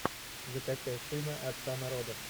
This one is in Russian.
закачай сына отца народов